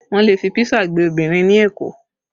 Wọn le fi písà gbé obìnrin ní Èkó